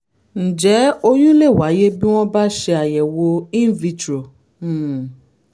ǹjẹ́ oyún lè wáyé bí wọ́n bá ṣeàyẹ̀wò in vitro? um